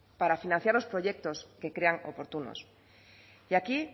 para financiar los proyectos que crean oportunos y aquí